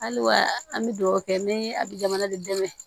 Hali wa an bɛ dugawu kɛ ni a bɛ jamana de dɛmɛ